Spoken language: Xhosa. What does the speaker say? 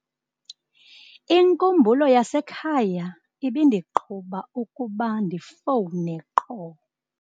Inkumbulo yasekhaya ibindiqhuba ukuba ndifowune qho.